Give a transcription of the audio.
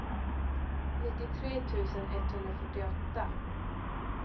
nittiotre tusen etthundrafyrtioåtta